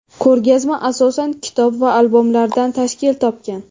Ko‘rgazma asosan kitob va albomlardan tashkil topgan.